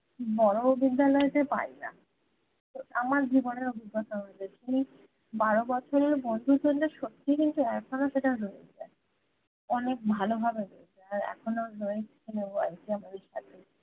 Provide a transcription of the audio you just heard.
বড়ো বিদ্যালয় তে পাই না তো আমার জীবনের অভিজ্ঞতা বলেছি বারো বছরের বন্ধুর জন্যে সত্যি কিন্তু এখনো সেটা রয়ে যায় অনেক ভালো ভাবে রয়ে যায় আর এখনো রয়েছে আমাদের সাথে